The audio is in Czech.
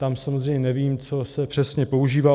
Tam samozřejmě nevím, co se přesně používá.